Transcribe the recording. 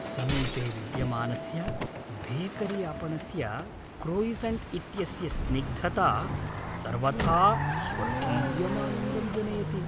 समीपे विद्यमानस्य बेकरीआपणस्य क्रोयिसन्ट् इत्यस्य स्निग्धता सर्वथा स्वर्गीयमानन्दं जनयति ।